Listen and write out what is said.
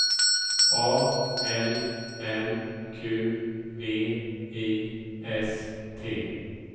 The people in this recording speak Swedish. A L M Q V I S T